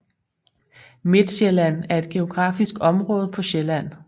Midtsjælland er et geografisk område på Sjælland